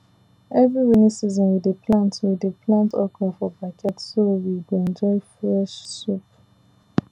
every rainy season we dey plant we dey plant okra for backyard so we go enjoy fresh soup